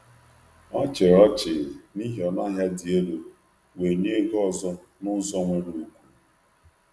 Ọ chịrị ọnụ ahịa dị elu ọchị, wee tụọ ọnụ ahịa dị mma n’ụzọ nkwanye ùgwù.